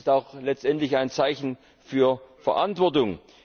Es ist auch letztendlich ein Zeichen für Verantwortung.